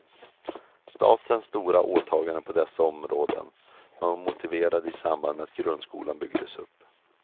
Statens stora åtaganden på dessa områden var motiverade i samband med att grundskolan byggdes upp.